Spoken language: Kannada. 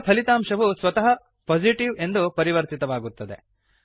ಈಗ ಫಲಿತಾಂಶವು ಸ್ವತಃ ಪೊಸಿಟಿವ್ ಎಂದು ಪರಿವರ್ತಿತವಾಗುತ್ತದೆ